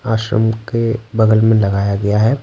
आश्रम के बगल में लगाया गया है।